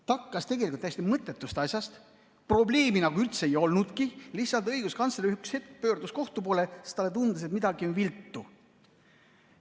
Ta hakkas tegelikult täiesti mõttetust asjast, probleemi nagu üldse ei olnudki, lihtsalt õiguskantsler üks hetk pöördus kohtu poole, sest talle tundus, et midagi on viltu.